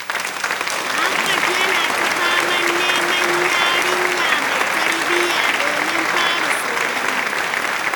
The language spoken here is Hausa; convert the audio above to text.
Muhammad yana ta faman neman yarinya mai tarbiyya, domin fara soyayya.